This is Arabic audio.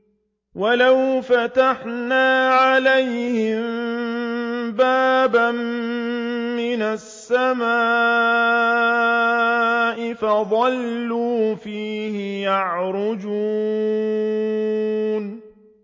وَلَوْ فَتَحْنَا عَلَيْهِم بَابًا مِّنَ السَّمَاءِ فَظَلُّوا فِيهِ يَعْرُجُونَ